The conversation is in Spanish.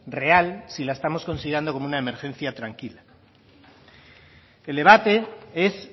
real si la estamos considerando como una emergencia tranquila el debate es